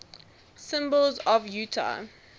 symbols of utah